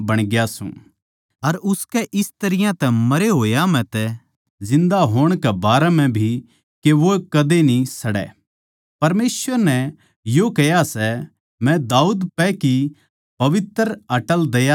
अर उसकै इस तरियां तै मरे होया म्ह तै जिन्दा होण कै बारै म्ह भी के वो कदे न्ही सड़ै परमेसवर नै यो कह्या सै मै दाऊद पै की पवित्र अर अटल दया तेरै पै करूँगा